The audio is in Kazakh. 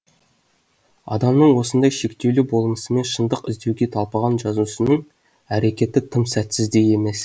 адамның осындай шектеулі болмысымен шындық іздеуге талпынған жазушының әрекеті тым сәтсіз де емес